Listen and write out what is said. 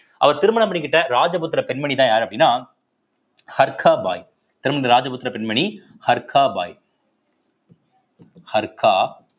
அவர் திருமணம் பண்ணிக்கிட்ட ராஜபுத்திர பெண்மணிதான் யாரு அப்படின்னா ஹர்கா பாய் திரும்ப இந்த ராஜபுத்திர பெண்மணி ஹர்கா பாய் ஹர்கா